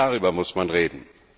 Auch darüber muss man reden.